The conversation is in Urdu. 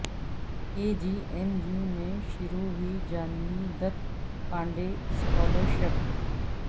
کے جی ایم یومیں شروع ہوئی جانہوی د ت پانڈے اسکالر شپ